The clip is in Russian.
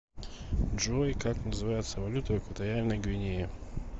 джой как называется валюта в экваториальной гвинее